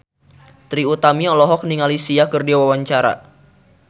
Trie Utami olohok ningali Sia keur diwawancara